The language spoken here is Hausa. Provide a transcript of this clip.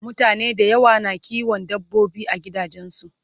mutane da yawa na kiwon dabbobi a gidajensu